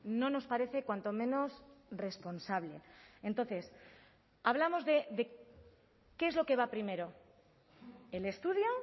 no nos parece cuanto menos responsable entonces hablamos de qué es lo que va primero el estudio